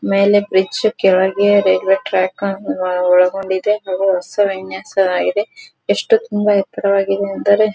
ಮೇಲೆ ಬ್ರಿಜ್ ಕೆಳಗೆ railway track ಅನ್ನು ಒಳಗೊಂಡಿದೆ ಹಾಗು ಹೊಸ ವಿನ್ಯಾಸ ಎಷ್ಟು ತುಂಬಾ ಎತ್ತರವಾಗಿದೆ ಎಂದರೆ --